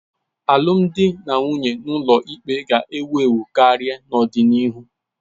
Alụmdi na nwunye n'ụlọikpe ga-ewu ewu karị n'ọdịnihu.